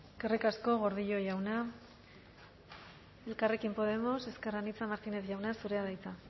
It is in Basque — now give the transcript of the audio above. eskerrik asko gordillo jauna elkarrekin podemos ezker anitza martínez jauna zurea da hitza